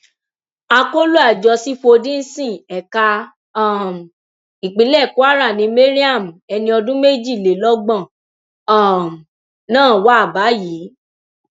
akọlọ àjọ sífọdíǹsì ẹka um ìpínlẹ kwara ni mariam ẹni ọdún méjìlélọgbọn um náà wà báyìí